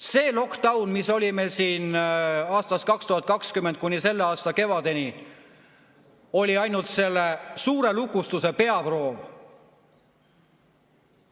See lockdown, mis meil oli siin aastast 2020 kuni selle aasta kevadeni, oli ainult suure lukustuse peaproov.